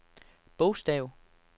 bogstav